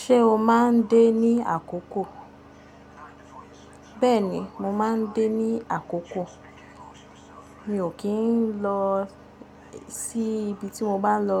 Ṣé o máa ń dé ní àkókò? Bẹ́ẹ̀ni, mo máa ń dé ní àkókò. Mi ò kí ń lọ sí ibi tí mo bá lọ